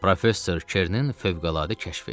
Professor Kernin fövqəladə kəşfi.